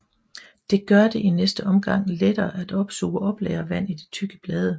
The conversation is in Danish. Det gør det i næste omgang lettere at opsuge og oplagre vand i de tykke blade